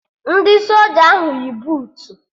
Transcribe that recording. Ndị soja ahụ yi buutu